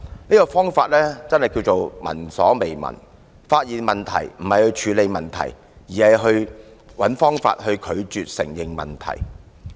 這種方法可謂聞所未聞，發現問題不是去處理，而是找方法拒絕承認問題。